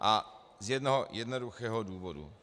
A z jednoho jednoduchého důvodu.